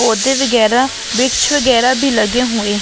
पौधे वगेरा वृक्ष वगेरा भी लगे हुए --